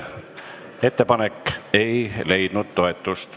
Ettepanek ei leidnud toetust.